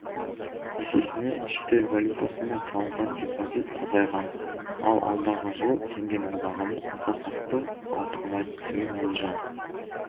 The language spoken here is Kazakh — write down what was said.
есесіне шетел валютасымен салынған депозит азайған ал алдағы жылы теңгенің бағамы аса қатты ауытқымайды деген болжам